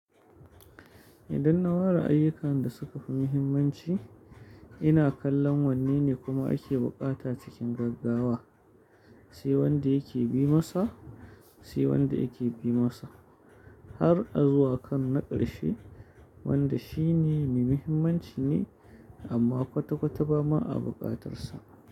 Idan na ware ayyukan da suka fi muhimmanci, ina kallon wanne ne kuma ake bukata cikin gaggawa, sai wanda yake bi masa, sai wanda yake bi masa, har a zuwa kan naƙarshe wanda shine mai muhimmanci ne amma kwata kwata ba ma a bukatarsa.